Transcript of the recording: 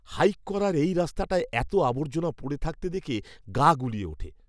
Hike করার এই রাস্তাটায় এতো আবর্জনা পড়ে থাকতে দেখে গা গুলিয়ে ওঠে!